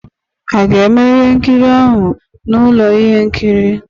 A ga-eme ihe nkiri ahụ na ụlọ ihe nkiri?